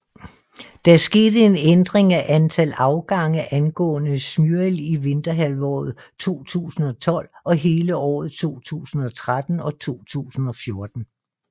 Der skete en ændring af antal afgange angående Smyril i vinterhalvåret 2012 og hele året 2013 og 2014